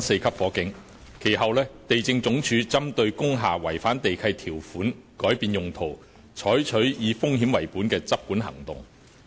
其後，地政總署針對工廈違反地契條款改變用途，採取以風險為本的執管行動。